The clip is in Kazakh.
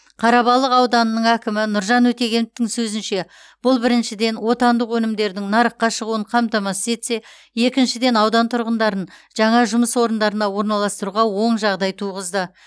қарабалық ауданының әкімі нұржан өтегеновтің сөзінше бұл біріншіден отандық өнімдердің нарыққа шығуын қамтамасыз етсе екіншіден аудан тұрғындарын жаңа жұмыс орындарына орналастыруға оң жағдай туғызды